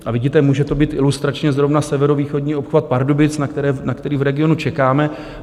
A vidíte, může to být ilustračně zrovna severovýchodní obchvat Pardubic, na který v regionu čekáme.